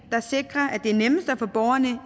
der sikrer at det er nemmest at få borgerne